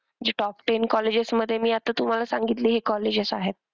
जे top ten colleges मध्ये मी आता तुम्हाला सांगितली हि colleges आहेत.